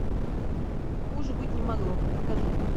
хуже быть не могло покажи